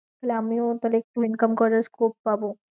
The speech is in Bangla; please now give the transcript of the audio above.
তাহলে আমিও আবার একটু income করার scope পাবো।